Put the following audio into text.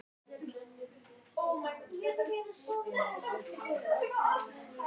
En raunin er allt önnur.